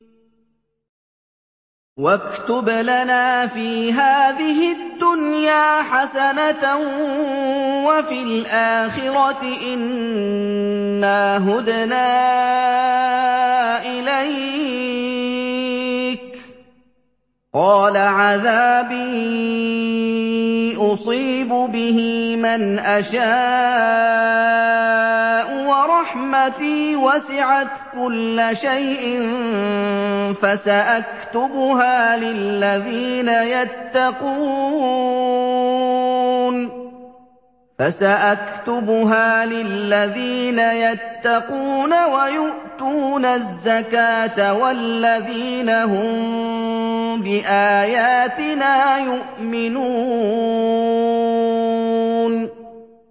۞ وَاكْتُبْ لَنَا فِي هَٰذِهِ الدُّنْيَا حَسَنَةً وَفِي الْآخِرَةِ إِنَّا هُدْنَا إِلَيْكَ ۚ قَالَ عَذَابِي أُصِيبُ بِهِ مَنْ أَشَاءُ ۖ وَرَحْمَتِي وَسِعَتْ كُلَّ شَيْءٍ ۚ فَسَأَكْتُبُهَا لِلَّذِينَ يَتَّقُونَ وَيُؤْتُونَ الزَّكَاةَ وَالَّذِينَ هُم بِآيَاتِنَا يُؤْمِنُونَ